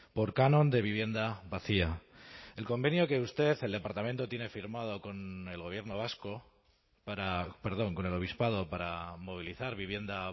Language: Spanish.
por canon de vivienda vacía el convenio que usted el departamento tiene firmado con el gobierno vasco para perdón con el obispado para movilizar vivienda